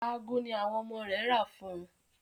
Aago ní àwọn ọmọ rẹ̀ rà fún ùn.